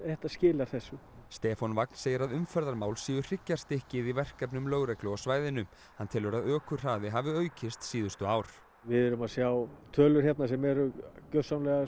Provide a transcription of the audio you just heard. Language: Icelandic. skilar þessu Stefán Vagn segir að umferðarmál séu hryggjarstykkið í verkefnum lögreglu á svæðinu hann telur að ökuhraði hafi aukist síðustu ár við erum að sjá tölur hérna sem eru gjörsamlega